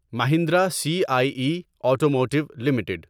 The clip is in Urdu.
Mahindra C I E automotive limited